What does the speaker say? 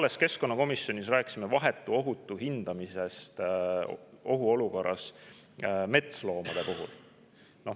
Me keskkonnakomisjonis alles rääkisime vahetu ohu hindamisest ohuolukorras metsloomade puhul.